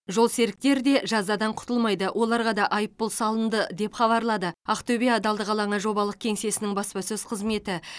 жолсеріктер де жазадан құтылмайды оларға да айыппұл салынды деп хабарлады ақтөбе адалдық алаңы жобалық кеңсесінің баспасөз қызметі